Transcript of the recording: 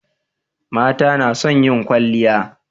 mata nason yin kwalliya